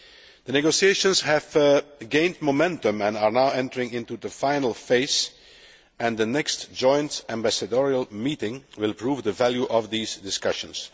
The negotiations have gained momentum and are now entering into the final phase, and the next joint ambassadorial meeting will prove the value of these discussions.